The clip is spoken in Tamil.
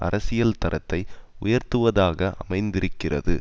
அரசியல் தரத்தை உயர்த்துவதாக அமைந்திருக்கிறது